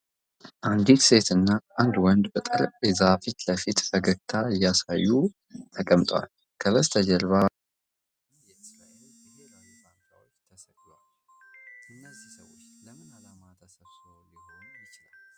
አንዲት ሴትና አንድ ወንድ በጠረጴዛ ፊት ለፊት ፈገግታ እያሳዩ ተቀምጠዋል። ከበስተጀርባ የኢትዮጵያ እና የእስራኤል ብሔራዊ ባንዲራዎች ተሰቅለዋል። እነዚህ ሰዎች ለምን ዓላማ ተሰብስበው ሊሆን ይችላል?